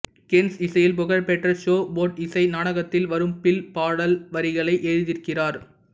கெர்ன்ஸ் இசையில் புகழ்பெற்ற show boat இசை நாடகத்தில் வரும் பில் பாடல் வரிகளை எழுதியிருக்கிறார்